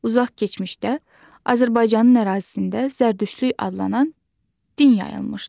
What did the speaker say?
Uzaq keçmişdə Azərbaycanın ərazisində zərdüştlük adlanan din yayılmışdı.